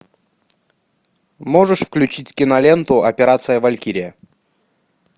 можешь включить киноленту операция валькирия